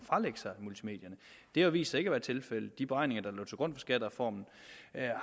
det har vist sig ikke at være tilfældet i de beregninger der lå til grund for skattereformen